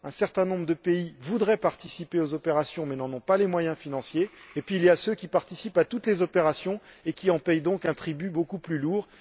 Un certain nombre de pays voudraient participer aux opérations mais n'en ont pas les moyens financiers, alors que d'autres participent à toutes les opérations et paient par conséquent un tribut beaucoup plus lourd.